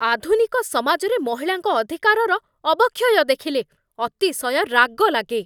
ଆଧୁନିକ ସମାଜରେ ମହିଳାଙ୍କ ଅଧିକାରର ଅବକ୍ଷୟ ଦେଖିଲେ ଅତିଶୟ ରାଗ ଲାଗେ।